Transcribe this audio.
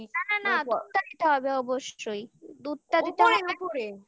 হ্যাঁ এ টুকু জানি তারপরে ঢাকনি দিয়ে ওই না না না দুধটা দিতে হবে অবশ্যই দুধটা দিতে হবে অবশ্যই